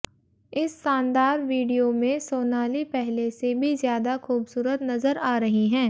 इस शानदार वीडियो में सोनाली पहले से भी ज्यादा खूबसूरत नजर आ रही हैं